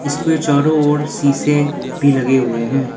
इसके चारो ओर शीशे भी लगे हुए हैं।